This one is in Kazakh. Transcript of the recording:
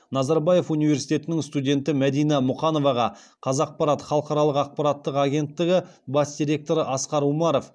назарбаев университетінің студенті мәдина мұқановаға қазақпарат халықаралық ақпараттық агенттігі бас директоры асқар умаров